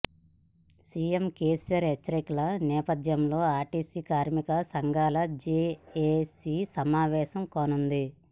CM KCR హెచ్చరికల నేపథ్యంలో RTC కార్మిక సంఘాల జేఏసీ సమావేశం కానుంది